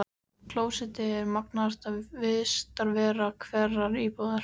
Klósettið er magnaðasta vistarvera hverrar íbúðar.